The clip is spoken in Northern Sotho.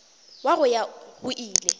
wa go ya go ile